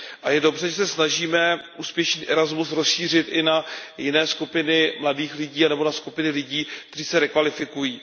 Je dobře, že se snažíme Erasmus rozšířit i na jiné skupiny mladých lidí nebo na skupiny lidí, kteří se rekvalifikují.